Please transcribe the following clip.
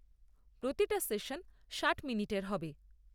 প্রতিটা সেশন ষাট মিনিটের হবে।